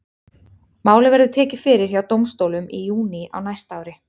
Málið verður tekið fyrir hjá dómstólum í júní á næsta ári.